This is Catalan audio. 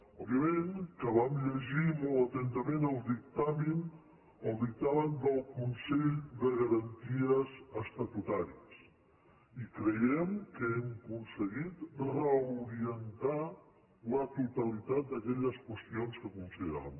òbviament que vam llegir molt atentament el dictamen del consell de garan ties estatutàries i creiem que hem aconseguit reorientar la totalitat d’aquelles qüestions que consideràvem